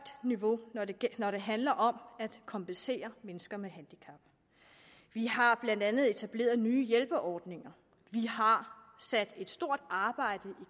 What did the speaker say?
niveau når det handler om at kompensere mennesker med handicap vi har blandt andet etableret nye hjælpeordninger vi har sat et stort arbejde i